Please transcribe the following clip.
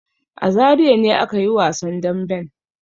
A Zariya ne aka yi wasan damben.